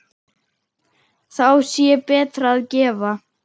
Þá sé betra að gefa.